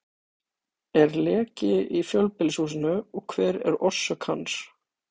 Er leki í fjölbýlishúsinu og hver er orsök hans?